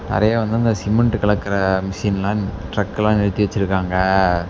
நிறைய வந்து அந்த சிமெண்ட் கலக்குற மிஷின்லாம் டிரக்கெல்லாம் நிறுத்தி வெச்சிருக்காங்க.